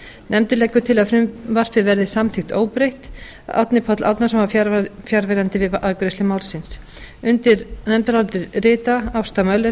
nefndin leggur til að frumvarpið verði samþykkt óbreytt árni páll árnason var fjarverandi við afgreiðslu málsins undir nefndarálitið rita ásta möller